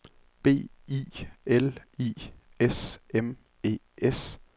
B I L I S M E S